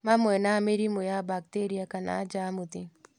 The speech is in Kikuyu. Mamwe ma mĩrimũ ya bakteria kana njamuthi